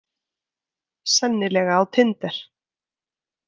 Sennilega á tinder.